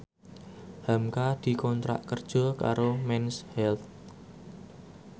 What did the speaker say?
hamka dikontrak kerja karo Mens Health